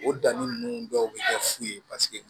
O danni ninnu dɔw bɛ kɛ fu ye